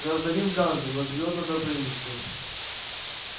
гражданин ганзы но живёт на добрынинской